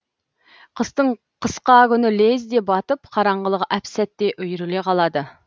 қыстың қысқа күні лезде батып қараңғылық әп сәтте үйіріле қалады